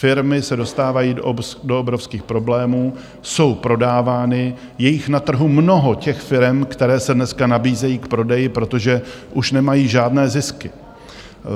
Firmy se dostávají do obrovských problémů, jsou prodávány - je jich na trhu mnoho, těch firem, které se dneska nabízejí k prodeji, protože už nemají žádné zisky.